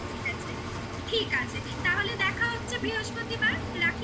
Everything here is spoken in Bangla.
ঠিক আছে. তাহলে দেখা হচ্ছে বৃহস্পতিবার রাখি তাহলে